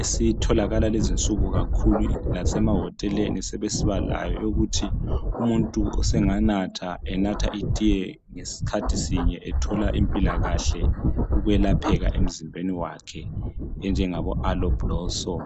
esitholakala kulezinsuku kakhulu lasemahoteleni sebesiba layo ukuthi umuntu senganatha enatha itiye ngesikhathi sinye ethola impilakahle ukwelapheka emzimbeni wakhe enjengabo aloe blossom.